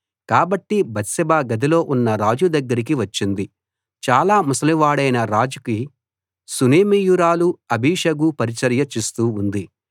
కాబట్టి బత్షెబ గదిలో ఉన్న రాజు దగ్గరికి వచ్చింది చాలా ముసలివాడైన రాజుకి షూనేమీయురాలు అబీషగు పరిచర్య చేస్తూ ఉంది